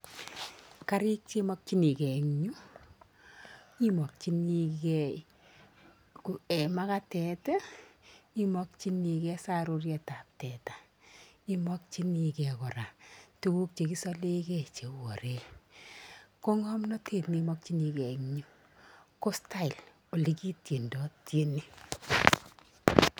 karik che imakchinikey emg yu imakchinikey ee magatet imakichinikey saruriet ab teta emakichinikey koraa tuguk chekiseleke kouu oreeek ko ngomnatete neimakchikey eng yuu ko style yegityedidai tyeni.